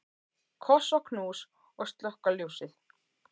Koss og knús og slökkva ljósið.